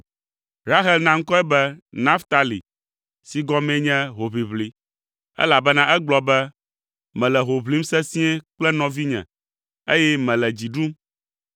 Rahel na ŋkɔe be Naftali si gɔmee nye “Hoʋiʋli,” elabena egblɔ be, “Mele ho ʋlim sesĩe kple nɔvinye, eye mele dzi ɖum!”